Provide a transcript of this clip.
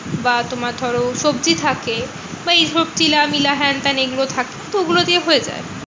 বা তোমার ধরো সবজি থাকে বা এইসব চিলা মিলা হ্যান ত্যান এইগুলো থাকে তো ঐগুলো দিয়ে হয়ে যায়।